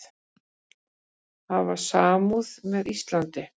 Hafa samúð með Íslandi